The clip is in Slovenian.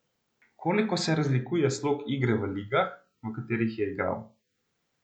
Koliko se razlikuje slog igre v ligah, v katerih je igral?